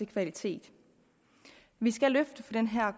kvalitet vi skal løfte den her